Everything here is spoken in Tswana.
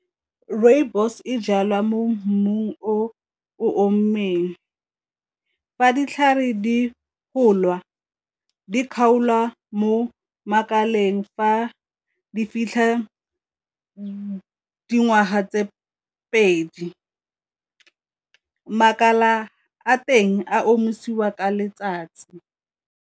Rooibos e jalwa mo mmung o o , fa ditlhare di gola di kgaolwa mo makaleng fa a di fitlhe dingwaga tse pedi, makala a teng a omisiwa ka letsatsi.